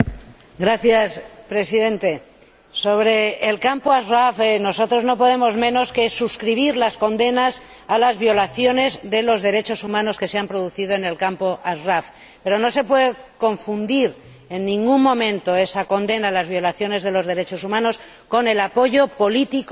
Señor Presidente, sobre el campo de Ashraf, nosotros no podemos por menos que suscribir las condenas a las violaciones de los derechos humanos que allí se han producido, pero no se puede confundir en ningún momento esa condena a las violaciones de los derechos humanos con el apoyo político